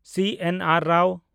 CNR. Rao